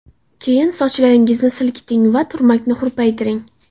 Keyin sochlaringizni silkiting va turmakni hurpaytiring.